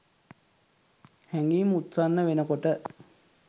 හැඟීම් උත්සන්න වෙනකොට